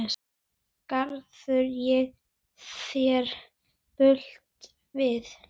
Gerði ég þér bylt við?